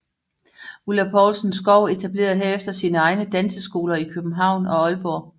Ulla Poulsen Skou etablerede herefter sine egne danseskoler i København og Aalborg